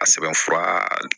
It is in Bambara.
A sɛbɛn fura